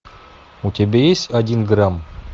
у тебя есть один грамм